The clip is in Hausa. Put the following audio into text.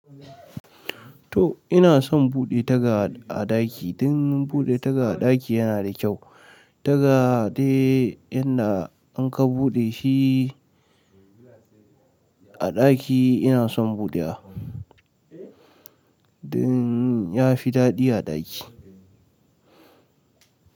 To ina son buɗe taga a ɗaki dan buɗe taga a ɗaki yana da kyau. Taga dai inda an ka buɗe shi a ɗaki ina son buɗewa dan ya fi daɗi a ɗaki.